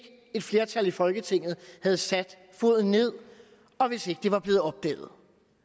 et flertal i folketinget havde sat foden ned og hvis ikke det var blevet opdaget